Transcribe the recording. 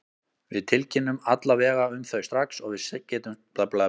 Við tilkynnum alla vega um þau strax og við getum sent skeyti, sagði hann þurrlega.